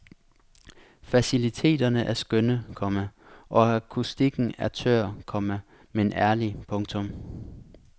Faciliteterne er skønne, komma og akustikken er tør, komma men ærlig. punktum